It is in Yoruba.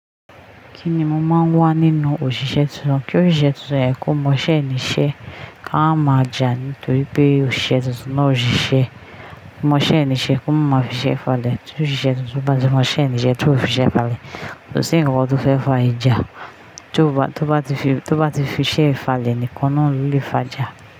Kí ni mo máa ń wá nínú òṣìṣẹ́ tuntun? Kí òṣìṣẹ́ tuntun yẹn kó mọṣẹ́ ní iṣẹ́, ká mamá jà nítorí pé òṣìṣẹ́ tuntun náà ò ṣiṣẹ́. Kó mọṣẹ́ ní iṣẹ́, kó mamá fi ṣẹ́ falẹ̀. Tí òṣìṣẹ́ tuntun bá ti mọṣẹ́ ní iṣẹ́, tí ó fi ṣẹ́ falẹ̀, kó sì ń kankan tó fẹ́ fà ìjà. Tí ó bá, tí ó bá ti fi, tí ó bá ti fi ṣẹ́ falẹ̀ ni ìkan náà ló lè fà jà.